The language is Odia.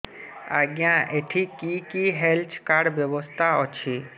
ଆଜ୍ଞା ଏଠି କି କି ହେଲ୍ଥ କାର୍ଡ ବ୍ୟବସ୍ଥା ଅଛି